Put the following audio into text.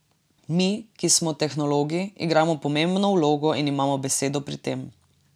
Mi, ki smo tehnologi, igramo pomembno vlogo in imamo besedo pri tem.